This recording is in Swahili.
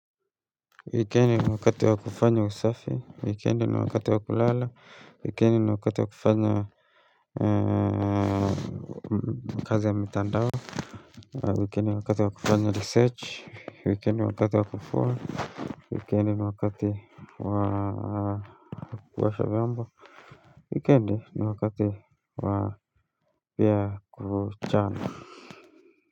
Wikendi ni wakati wa kufanya usafi, wikendi ni wakati wa kulala, wikendi ni wakati wa kufanya kazi ya mitandao, wikendi ni wakati wakufanya research, wikendi ni wakati wakufua, wikendi ni wakati wa kuosha biamba, wikendi ni wakati wa pia kuchana.